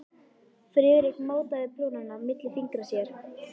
Friðrik mátaði prjónana milli fingra sér.